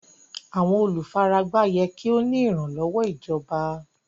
Àwọn olúfáràgbá yẹ́ kí o ní ìranlọ́wọ̀ ìjọ̀bà.